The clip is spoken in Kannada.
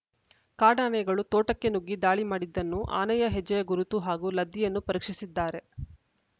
ಕಾಡಾನೆಗಳು ತೋಟಕ್ಕೆ ನುಗ್ಗಿ ದಾಳಿ ಮಾಡಿದ್ದನ್ನು ಆನೆಯ ಹೆಜ್ಜೆಯ ಗುರುತು ಹಾಗೂ ಲದ್ದಿಯನ್ನು ಪರೀಕ್ಷಿಸಿದ್ದಾರೆ